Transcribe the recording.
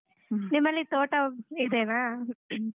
ನಿಮ್ಮಲ್ಲಿ ತೋಟ ಇದೇನಾ?